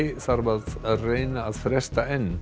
þarf að reyna að fresta enn